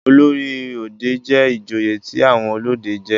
olórí òde jé ìjòyè tí àwọn olóde jé.